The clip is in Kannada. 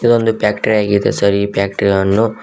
ಇದು ಒಂದು ಬಕ್ಟ್ರ್ರಿಯಾ ಆಗಿದೆ ಸರ್ ಈ ಬಕ್ಟ್ರ್ರಿಯಾ ವನ್ನು--